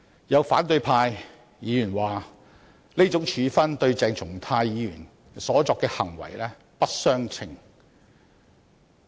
有反對派議員指出，這種處分跟鄭松泰議員所作的行為不相稱。